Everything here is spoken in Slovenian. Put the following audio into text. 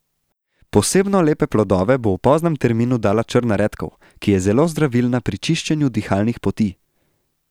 Posebno lepe plodove bo v poznem terminu dala črna redkev, ki je zelo zdravilna pri čiščenju dihalnih poti.